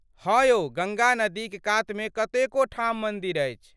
हाँ, यौ गङ्गा नदीक कातमे कतेको ठाम मन्दिर अछि।